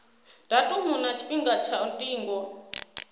datumu na tshifhinga tsha ndingo